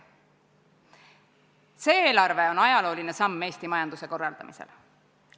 See eelarve on ajalooline samm Eesti majanduse korraldamisel.